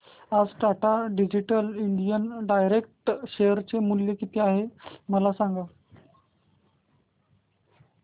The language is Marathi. आज Tata digital India direct share चे मूल्य किती आहे मला सांगा